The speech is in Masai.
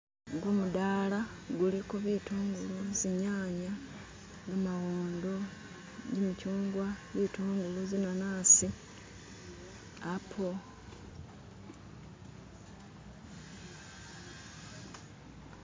gumudala guliko bitungulu zinyanya gamawondo jimikyungwa butungulu zinanasi apo